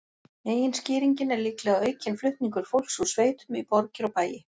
Meginskýringin er líklega aukinn flutningur fólks úr sveitum í borgir og bæi.